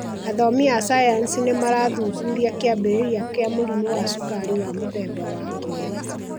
Athomi a sayansi nĩ marathuthuria kĩambĩrĩria kĩa mũrimũ wa cukari wa mũthemba wa 2